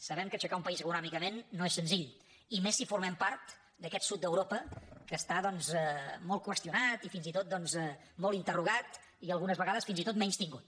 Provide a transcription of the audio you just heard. sabem que aixecar un país econòmicament no és senzill i més si formem part d’aquest sud d’europa que està doncs molt qüestionat i fins i tot molt interrogat i algunes vegades fins i tot menystingut